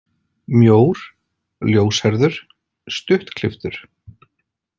Mjór, ljóshærður, stuttklipptur.